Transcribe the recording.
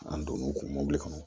An donn'u ka mɔbili kɔnɔ